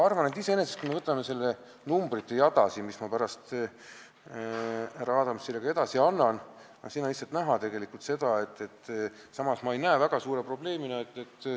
Kui me vaatame seda numbrite jada, mille ma pärast härra Adamsile edasi annan, siin on seda tegelikult näha.